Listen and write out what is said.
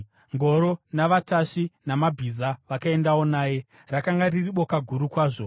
Ngoro navatasvi vamabhiza vakaendawo naye. Rakanga riri boka guru kwazvo.